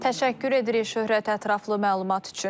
Təşəkkür edirik, Şöhrət, ətraflı məlumat üçün.